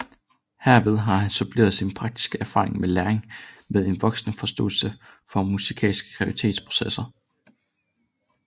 Herved har han suppleret sin praktiske erfaring med læring med en voksende forståelse for musikalske kreativitetsprocesser